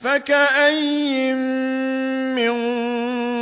فَكَأَيِّن مِّن